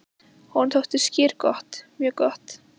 Honum þótti skyr gott, mjög gott.